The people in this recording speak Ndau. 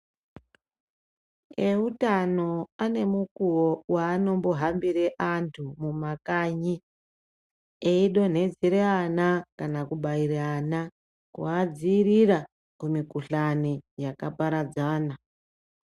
Eutano ane mukuwo weanombohambire vantu mumakanyi eidonhedzere ana kana kubaire ana, kuadziirira kumikhuhlani yakaparadzana.